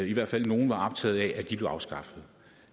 i hvert fald nogle var optaget af blev afskaffet